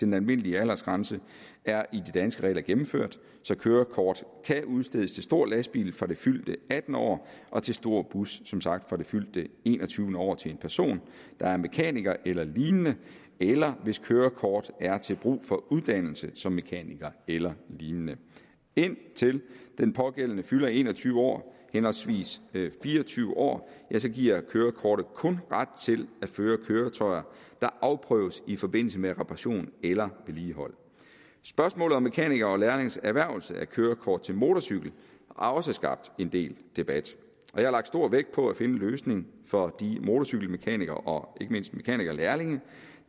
den almindelige aldersgrænse er i de danske regler gennemført så kørekort kan udstedes til stor lastbil fra det fyldte attende år og til stor bus som sagt fra det fyldte enogtyvende år til en person der er mekaniker eller lignende eller hvis kørekort er til brug for uddannelse som mekaniker eller lignende indtil den pågældende fylder en og tyve år henholdsvis fire og tyve år giver kørekortet kun ret til at føre køretøjer der afprøves i forbindelse med reparation eller vedligehold spørgsmålet om mekanikere og lærlinges erhvervelse af kørekort til motorcykel har også skabt en del debat jeg har lagt stor vægt på at finde en løsning for de motorcykelmekanikere og ikke mindst mekanikerlærlinge